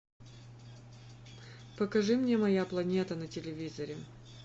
покажи мне моя планета на телевизоре